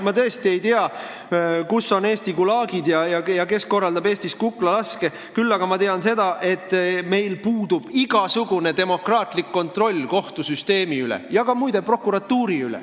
Ma tõesti ei tea, kus on Eesti Gulagid ja kes korraldab Eestis kuklalaske, küll aga ma tean seda, et meil puudub igasugune demokraatlik kontroll kohtusüsteemi üle ja muide, ka prokuratuuri üle.